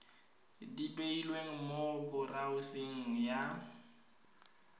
di beilweng mo boraoseng ya